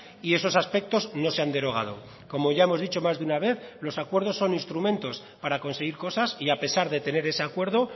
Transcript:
y esos aspectos no se han derogado como ya hemos dicho más de una vez los acuerdos son instrumentos para conseguir cosas y a pesar de tener ese acuerdo